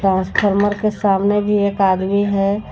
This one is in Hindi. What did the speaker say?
ट्रांसफार्मर के सामने भी एक आदमी है।